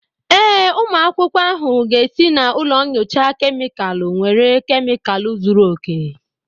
Ee, ụmụ akwụkwọ ahụ ga esi na ụlọ nyocha kemịkalụ nwere kemịkalụ zuru oke